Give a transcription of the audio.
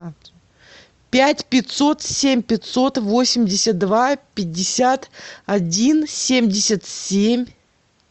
пять пятьсот семь пятьсот восемьдесят два пятьдесят один семьдесят семь